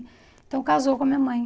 Então casou com a minha mãe.